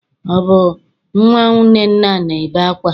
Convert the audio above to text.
Ọ bụ nnwa Nnenna na-ebe akwa?